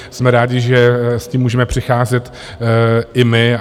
Jsme rádi, že s tím můžeme přicházet i my.